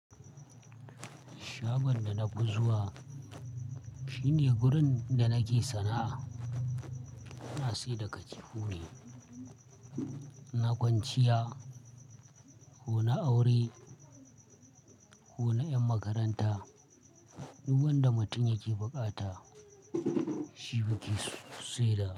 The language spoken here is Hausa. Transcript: Shagon da na fi zuwa shine gurin da nake sana'a, ina sai da katifu ne. Na kwanciya, ko na aure, ko na yan makaranta, duk wanda mutum yake buƙata shi muke saida.